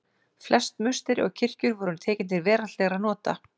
Flest musteri og kirkjur voru tekin til veraldlegra nota.